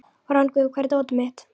Rongvuð, hvar er dótið mitt?